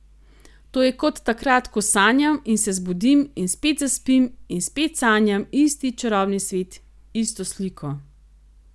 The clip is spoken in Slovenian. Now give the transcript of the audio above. To je kot takrat, ko sanjam in se zbudim in spet zaspim in spet sanjam isti čarobni svet, isto sliko ...